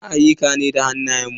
Muna ayyuka da hannayen mu.